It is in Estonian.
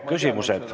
Küsimused.